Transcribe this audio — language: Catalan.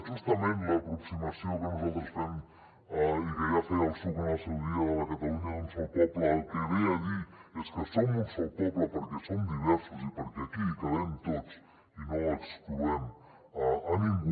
justament l’aproximació que nosaltres fem i que ja feia el psuc en el seu dia de la catalunya d’un sol poble el que ve a dir és que som un sol poble perquè som diversos i perquè aquí hi cabem tots i no excloem a ningú